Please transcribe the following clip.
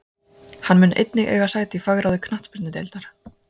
Hann mun einnig eiga sæti í fagráði knattspyrnudeildar.